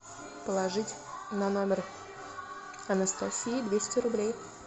положить на номер анастасии двести рублей